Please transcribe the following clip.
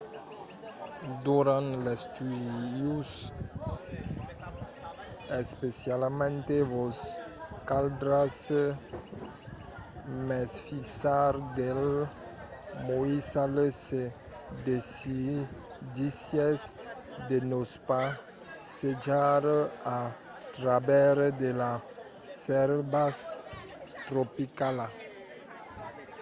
durant l’estiu especialament vos caldrà mesfisar dels moissals se decidissètz de vos passejar a travèrs de la selva tropicala